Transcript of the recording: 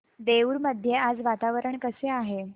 देऊर मध्ये आज वातावरण कसे आहे